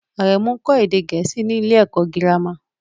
Aremu ń kọ́ èdè Gẹ̀ẹ́sì ní ilé-ẹ̀kọ́ girama